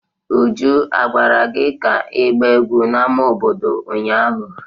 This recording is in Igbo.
Uju, a gwara gi ka igba egwu n'ámá obodo ụnyahụ!